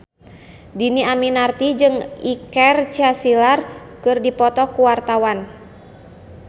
Dhini Aminarti jeung Iker Casillas keur dipoto ku wartawan